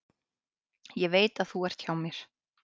Ég veit þú ert hjá mér.